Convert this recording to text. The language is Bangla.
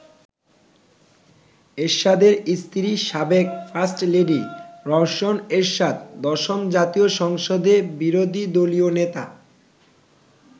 এরশাদের স্ত্রী সাবেক ফার্স্টলেডি রওশন এরশাদ দশম জাতীয় সংসদের বিরোধী দলীয় নেতা।